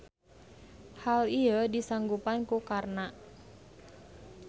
Hal ieu disanggupan ku Karna.